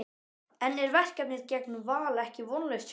En er verkefnið gegn Val ekki vonlaust fyrirfram?